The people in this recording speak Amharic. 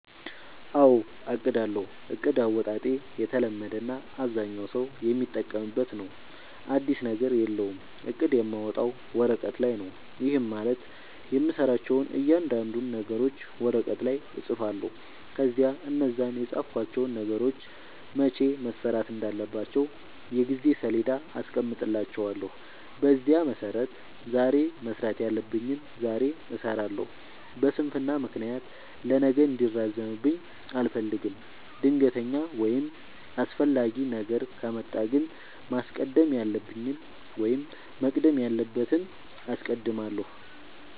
አዎ አቅዳለሁ። እቅድ አወጣጤ የተለመደ እና አብዛኛው ሠው የሚጠቀምበት ነው። አዲስ ነገር የለውም። እቅድ የማወጣው ወረቀት ላይ ነው። ይህም ማለት የምሠራቸውን እያንዳንዱን ነገሮች ወረቀት ላይ እፅፋለሁ። ከዚያ እነዛን የፃፍኳቸውን ነገሮች መቼ መሠራት እንዳለባቸው የጊዜ ሠሌዳ አስቀምጥላቸዋለሁ። በዚያ መሠረት ዛሬ መስራት ያለብኝን ዛሬ እሠራለሁ። በስንፍና ምክንያት ለነገ እንዲራዘምብኝ አልፈልግም። ድንገተኛ ወይም አስፈላጊ ነገር ከመጣ ግን ማስቀደም ያለብኝን ወይም መቅደም ያለበትን አስቀድማለሁ።